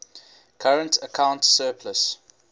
current account surplus